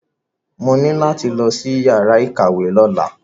Mo ní láti lọ sí yàrá ìkàwé lọ́la.